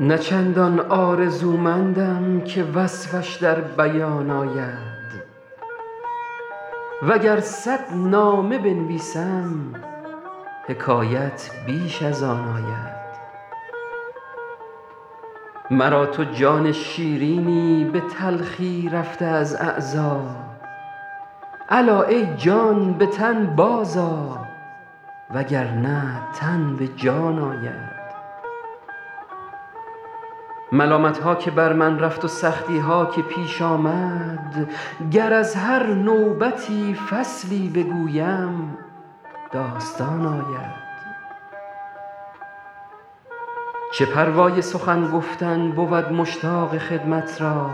نه چندان آرزومندم که وصفش در بیان آید و گر صد نامه بنویسم حکایت بیش از آن آید مرا تو جان شیرینی به تلخی رفته از اعضا الا ای جان به تن بازآ و گر نه تن به جان آید ملامت ها که بر من رفت و سختی ها که پیش آمد گر از هر نوبتی فصلی بگویم داستان آید چه پروای سخن گفتن بود مشتاق خدمت را